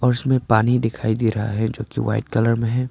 और उसमें पानी दिखाई दे रहा है जो कि व्हाइट कलर में है।